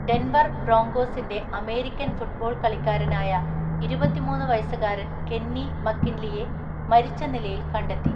Denver ബ്രോങ്കോസിന്റെ American football കളിക്കാരനായ ഇരുപത്തിമൂന്ന് വയസ്സുകാരൻ കെന്നി മക്കിൻലിയെ മരിച്ച നിലയിൽ കണ്ടെത്തി.